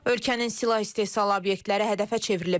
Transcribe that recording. Ölkənin silah istehsalı obyektləri hədəfə çevrilib.